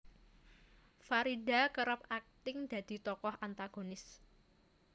Farida kerep akting dadi tokoh antagonis